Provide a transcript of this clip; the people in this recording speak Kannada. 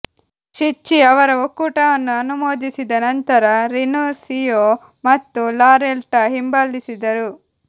ಷಿಚ್ಚಿ ಅವರ ಒಕ್ಕೂಟವನ್ನು ಅನುಮೋದಿಸಿದ ನಂತರ ರಿನುಸ್ಸಿಯೋ ಮತ್ತು ಲಾರೆಟ್ಟಾ ಹಿಂಬಾಲಿಸಿದರು